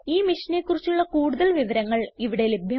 ഈ മിഷനെ കുറിച്ചുള്ള കുടുതൽ വിവരങ്ങൾ ഇവിടെ ലഭ്യമാണ്